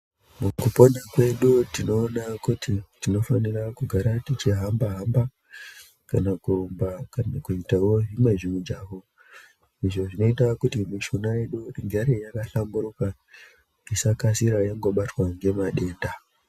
Mukupona kwedu tinoona kuti tinofanira kugara tichi hamba hamba kana kurumba kana kuitawo zviimwe zvimijaho izvo zvinoita kuti mishuna yedu igare yakahlamburuka isakasira yangobatwa ngemadenda.